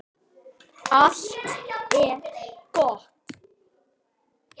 Allt er gott.